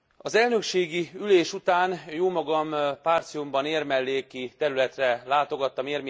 Az elnökségi ülés után jómagam Partiumban, érmelléki területre látogattam.